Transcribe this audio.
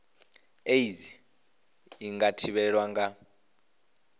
aids i nga thivhelwa nga